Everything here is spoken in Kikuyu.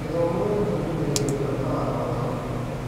G ĩthomo gĩtũbundithagia gũbuata watho wa bũrũri.